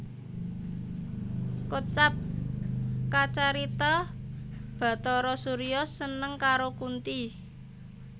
Kocap kacarita Bhatara Surya seneng karo Kunthi